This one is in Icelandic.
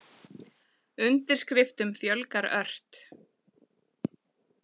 Undirskriftum fjölgar ört